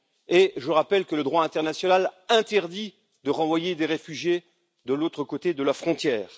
Et je rappelle que le droit international interdit de renvoyer des réfugiés de l'autre côté de la frontière.